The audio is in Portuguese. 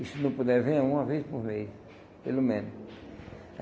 E se não puder, venha uma vez por mês, pelo menos.